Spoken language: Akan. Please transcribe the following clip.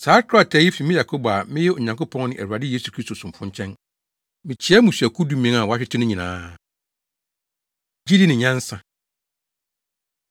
Saa krataa yi fi me Yakobo a meyɛ Onyankopɔn ne Awurade Yesu Kristo somfo nkyɛn, Mikyia mmusuakuw dumien a wɔahwete no nyinaa. Gyidi Ne Nyansa